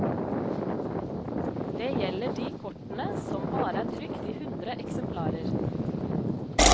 Det gjelder de kortene som bare er trykt i hundre eksemplarer.